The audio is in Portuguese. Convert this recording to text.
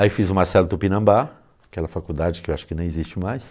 Aí fiz o Marcelo Tupinambá, aquela faculdade que eu acho que nem existe mais.